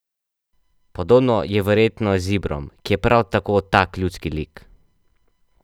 Podobno je verjetno z Ibrom, ki je prav tako tak ljudski lik.